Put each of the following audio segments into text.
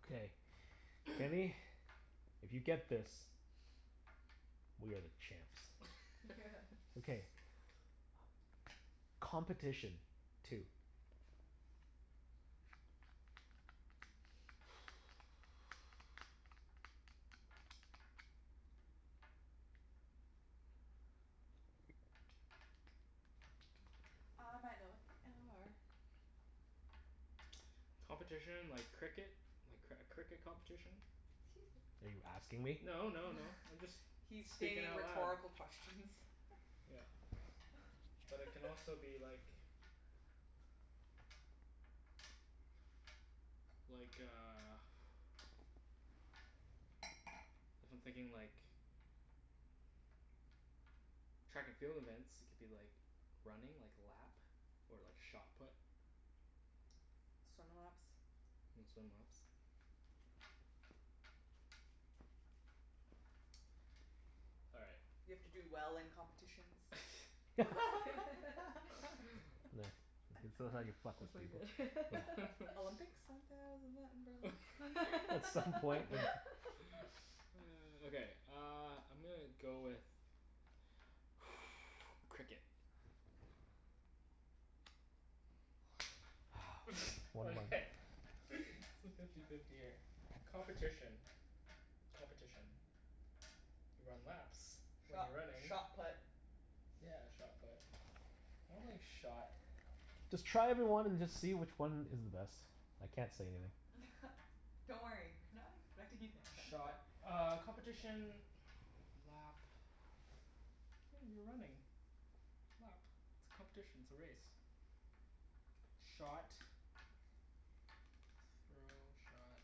Okay. Kenny, if you get this we are the champs. Okay. Competition. Two. I might know what they are. Competition like cricket? A cr- cricket competition? 'Scuse me. Are you asking me? No no no, I'm just He's speaking stating out loud. rhetorical questions. Yeah. But it can also be like like a if I'm thinking like track and field events, it could be like running, like lap. Or like shot put. Swim laps. And swim laps. All right. You have to do well in competitions. Nah, that's how you fuck That's with pretty people. good. Olympics? Isn't that the, isn't that in Berlin? At some point we Okay, uh I'm gonna go with Cricket. One month Okay, it's fifty fifty here. Competition. Competition. You run laps when Shot you're running. shot put. Yeah, shot put. I don't think shot Just try every one and just see which one is the best. I can't say anything. Don't worry. We're not expecting you to answer. Shot uh competition lap oh, you're running lap. It's competition, it's a race. Shot throw, shot,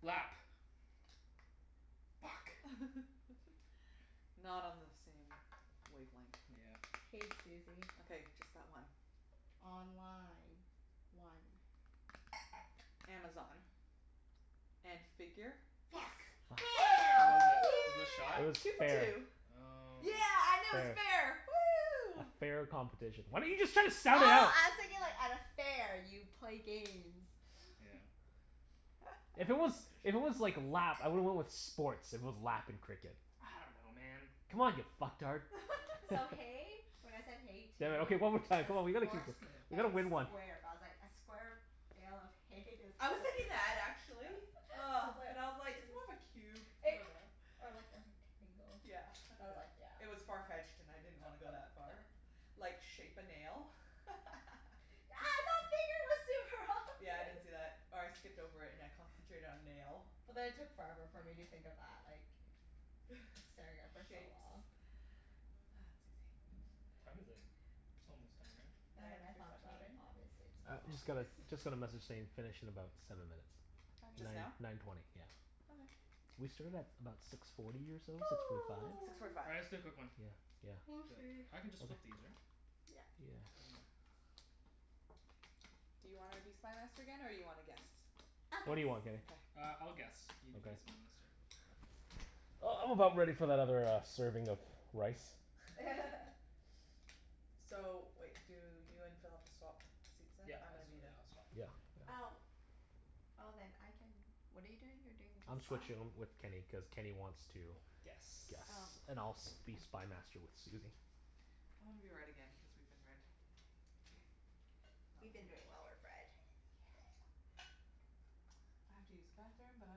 lap. Fuck. Not on the same wavelength. Yeah. K, Susie. Okay. Just that one. Online. One. Amazon. And figure? Yes! Fu- Yeah. Killed it. Was it shot? It Woo! was Yeah. Two for fair. two. Oh. Yeah, I knew it was Fair. fair. A Woo! fair competition. Why didn't you just try to Oh, sound it out? I was thinking like at a fair you play games. Yeah. If it was, if it was Competition. like lap, I would've went with sports, if it was lap and cricket. I don't know, man. Come on you fucktard. So hay, when I said hay two Damn it. Okay, one more time. as Come on, we gotta keep horse on Okay. We and gotta win one. square. But I was like a square bale of hay is I was thinking that actually. I Ah. But I was was like, like "It's more of a cube. I It dunno." or like a rectangle. Yeah, I I was like, dunno. yeah. It was far-fetched and I didn't wanna go that far. Like, shape a nail? Yeah, I didn't see that. Or I skipped over it and I concentrated on nail. But then it took forever for me to think of that, like staring at it for so Shapes. long. Ah, Mm. Susie. What time is it? It's almost time, right? Then when Nine I thought about it, fifteen. obviously it's I more u- just got a obvious. just got a message saying finish in about seven minutes. Just now? Nine Okay. nine twenty, yeah. Okay. We started at about six forty or so? Six forty five? Six forty five. All right, let's do a quick one. Yeah yeah. 'Scuse Do me. it. I can just flip these, right? Yep. Yeah. Do you wanna be Spy Master again, or you wanna guess? I'll What do guess. you want, Kenny? Okay. Uh, I'll guess. You can be Spy Okay. Master. Uh, I'm about ready for that other uh serving of rice. So wait, do you and Phil have to swap seats then? Yep. I'm I'll gonna swa- be the yeah, I'll swap. Yeah yeah. Oh. Oh, then I can, what are you doing? You're doing I'm this side? switching um with Kenny, cuz Kenny wants to Guess. Oh. guess. And I'll s- be Spy Master with Susie. I wanna be red again cuz we've been red. K. We've been doing well with red. Yeah. K. I have to use the bathroom, but I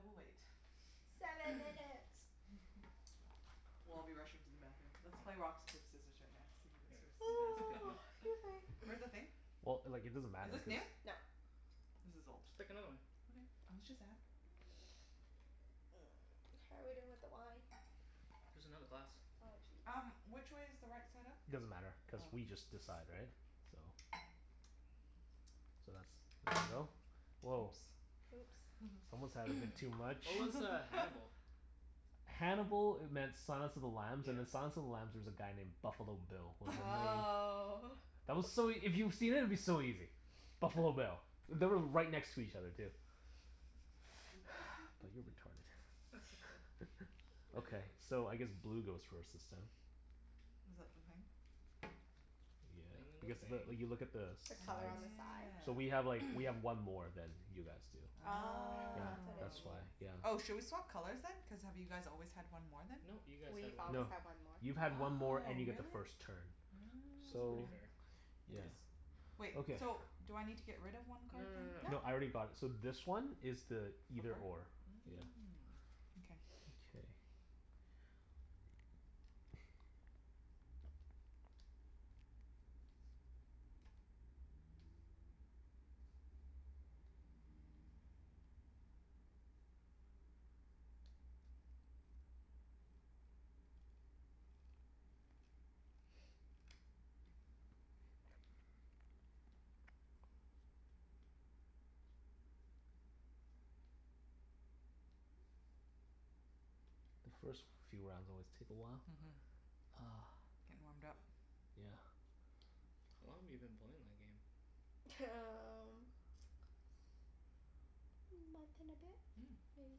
will wait. Seven minutes. We'll all be rushing to the bathroom. Let's play rock, Yeah. sc- paper, scissors right now to see who All goes first. right. You guys pick one. Excuse me. Where's the thing? Well, like it doesn't Is matter if this new? it's No. This is old. Just pick another one. Okay. I was just ask Mm, how are we doing with the wine? There's another glass. Oh, jeez. Um, which way is the right side up? Doesn't matter, cuz Oh. we just decide, right? So So that's, there you go. Woah. Oops. Whoops. Someone's had a bit too much. What was uh Hannibal? Hannibal e- meant Silence of the Lambs, and Yeah. in Silence of the Lambs there was a guy named Buffalo Bill. Was Oh. That was so ea- if you've seen it, it'd be so easy. Buffalo Bill. They were right next to each other, too. But you're retarded. Okay. So, I guess blue goes first this time. Is that the thing? The Yeah, thing in the because the, thing. you look at the The Oh color on sides. the side? So yeah. we have like, we have one more than you guys do. Oh, Yeah, that's what it that's why. means. Oh. Oh, Yeah. should we swap colors then? Cuz have you guys always had one more then? No. You guys had We've one always more. No. had one more. You've had one more Oh, and you get the really? first turn. So it's pretty So, fair. Oh. It yeah. is. Wait, Okay. so do I need to get rid of one No card no no no then? No. No, I no. already got it. So this one is the either or. Yeah. Mm. Okay. Mkay. The first few rounds always take a while. Mhm. Ah. Gettin' warmed up. Yeah. How long have you been playing that game? T- um month and a bit? Mm. Maybe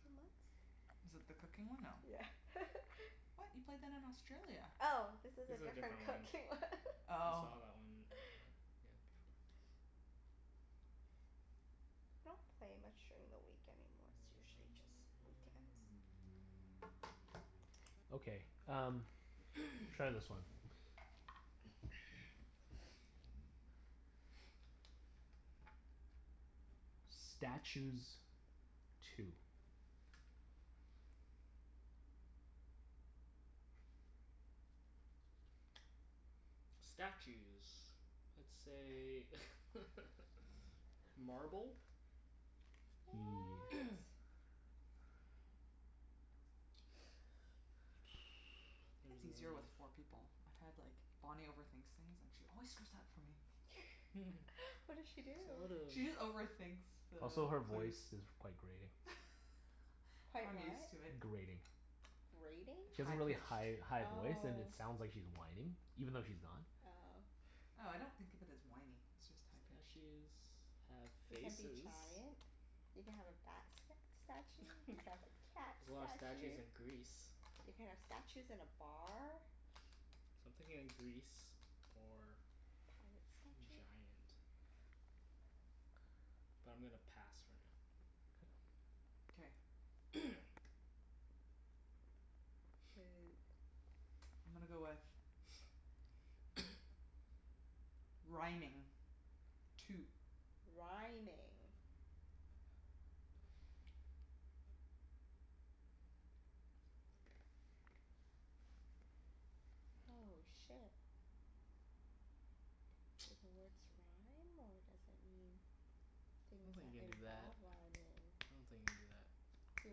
two months. Is it the cooking one? No. Yeah. What? You played that in Australia. Oh, this is This a is a different different cooking one. one. I Oh. saw that one earlier. Yeah, before. I don't play much during the week anymore. It's usually just weekends. Okay, um Try this one. Statues. Two. Statues. Let's say Marble. What? It's easier with four people. I've had like, Bonnie overthinks things and she always screws up for me. What did she do? There's a lot She just of overthinks the Also, her clues. voice is quite grating. Quite I'm what? used to it. Grating. Grating? She has High a really pitched. high high voice and Oh. it sounds like she's whining. Even though she's not. Oh. Oh, I don't think of it as whiny, it's just high pitched. Statues have You can be faces. giant. You can have a bat st- statue. There's You can have a cat a lot of statues statue. in Greece. You can have statues in a bar. So I'm thinking Greece or Pirate statue. giant. But I'm gonna pass for now. K. Okay. I'm gonna go with Rhyming. Two. Rhyming. Oh, shit. Do the words rhyme, or does it mean I don't things think that you can do that. involve rhyming? I don't think you can do that. Do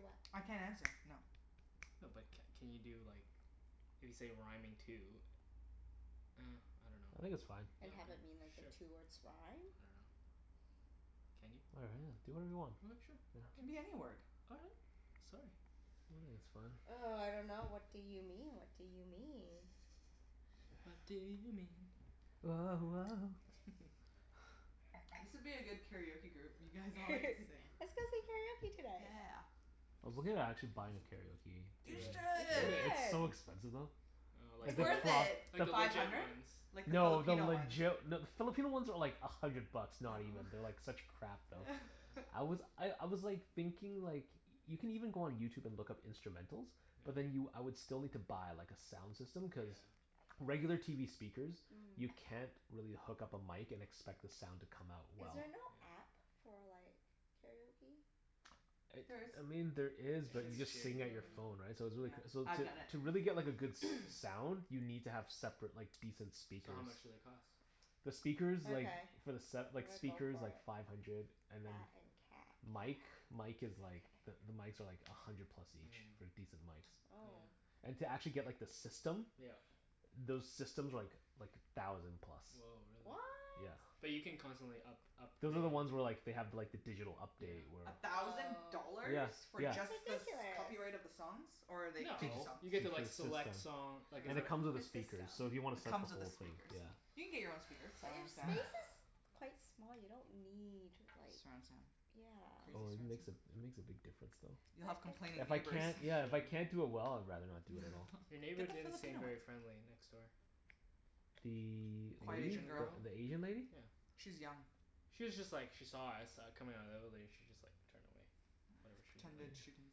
what? I can't answer. No. No but c- can you do like, if you say rhyming two Ah, I dunno. I think Well, it's fine. And have it mean, like, the k, two sure. words rhyme? I dunno. Can you? All I do whatever you want. right. Sure. Yeah. It can be any word. All right. Sorry. I think it's fine. Oh, I dunno. What do you mean? What do you mean? What do you mean? Woah woah. This would be a good karaoke group. You guys all like to sing. Let's go sing karaoke tonight. Yeah. I was looking at actually buying a karaoke Do You machine. it. You Do should. it. Yeah. It's should! so expensive though. Oh, like It's Like Is the the le- worth it? it. like pro- the the Five legit hundred? ones. Like the No, the Filipino ones. legit No, the Filipino ones are like a hundred bucks. Not even. They're like such crap Oh, though. Oh. yeah. I was I I was like thinking like Y- you can even go on YouTube and look up instrumentals. But then you, Yeah. I would still need to buy like a sound system, cuz Yeah. regular TV speakers you Mm. can't really hook up a mic and expect the sound to come out Is well. there Mhm. Yeah. no app for like karaoke? It, There is. I mean, there Yeah, is but you it's Shitty. just shitty sing at your though, phone, Mm. yeah. right? So it's Yeah. really c- so I've to done it. to really get like a good s- sound You need to have separate like decent So how speakers. much do they cost? The speakers like Okay. for the set, I'm like gonna go speakers, for like it. five hundred. And then That and cat. mic mic Okay. is like the the mics are like a hundred plus Mm, each. yeah. For decent mics. Oh. And to actually get like the system Yeah. Those systems are like like a thousand plus. Woah, really? What? Yeah. But you can constantly up- upgrade Those are the ones where like they have like the digital update Yeah. where A thousand Oh. Yeah. dollars? For Yeah. just the s- That's ridiculous. copyright of the songs? Or are they To fake No. just songs? You get make sure to like the system select song, like a Cuz Ah, it it comes comes with The a system. speaker, so if you wanna set the with the whole thing, speakers. yeah. You can get your own speakers. But your Surround sound. Yeah. space is quite small. You don't need like Surround sound. Crazy Oh Yeah. it surround makes a, sound. it makes a big difference though. You'll have complaining But it's If I neighbors. can't, yeah, if I Yeah. can't do it well I'd rather not do it at all. Your neighbor Get the didn't seem Filipino one. very friendly, next door. The The Quiet A- Asian Asian girl. girl. the Asian lady? Yeah. She's young. She was just like, she saw us uh coming outta the evelator. She just like turned away. Oh, Whatever she pretended she didn't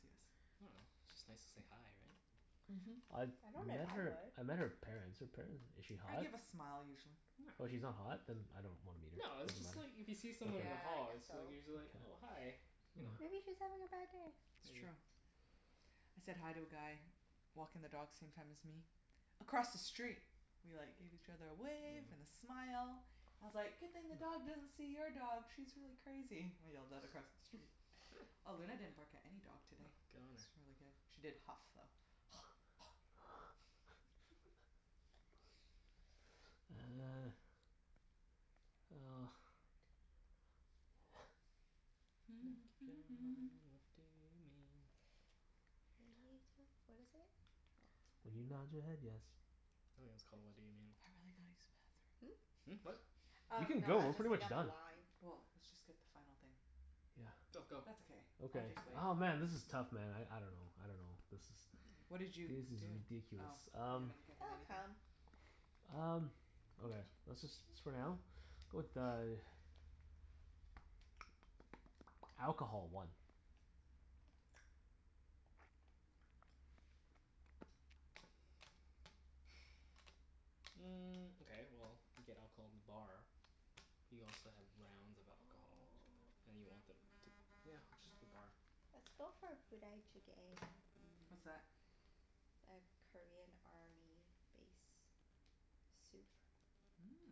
see us. I dunno. It's just nice to say hi, right? Mhm. I've I don't know if met I her, would. I met her parents. Her paren- is she I hot? give a smile usually. No. Oh, she's not hot? Then I don't wanna meet No, her. it's Doesn't just like matter. if you see someone in the Okay. Yeah, I hall guess it's like so. you're just like, "Oh, hi." Okay. You know? Yeah. Maybe she's having a bad day. It's Maybe. true. I said hi to a guy walking the dogs same time as me across the street. We like gave each other a wave and Yeah. a smile. I was like, "Good thing the dog doesn't see your dog. She's really crazy." I yelled that across the street. Oh, Luna didn't bark at any dog Oh, today. good on her. It's really good. She did huff, though. Uh. Well. What do you mean? Make up your mind. What do you mean? When you tell, what is it? When you nod your Oh, head yes. I think it's called, "What Do You Mean?" I've really gotta use the Hmm? bathroom. Hmm, what? Oh, You can no, go. I We're was just pretty thinking much of the done. line. Well, let's just get the final thing. Yeah. Go, That's go. okay. I'll Okay. just wait. Oh, man, this is tough man. I I dunno. I dunno. This is What This did you is do? Oh, ridiculous. you Um haven't given It'll anything? come. Um, okay. Let's just s- for now? Go with uh Alcohol. One. Mm, okay, well you get alcohol in the bar. You also have rounds of Oh. alcohol. And you want them t- yeah, just the bar. Let's go for Budae Jjigae. What's Mmm. that? A Korean army base soup. Mmm.